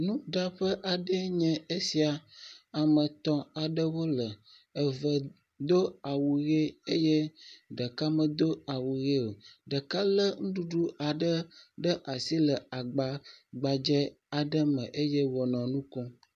Nuteƒe aɖee nye esia, ame etɔ̃ aɖewo le, eve do awu ʋe ɖeka medo awu ʋe o, ɖeka lé nuɖuɖu aɖe ɖe asi le agbagbadze aɖe me eye wònɔ nu kom.